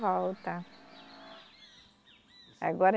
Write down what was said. Volta. Agora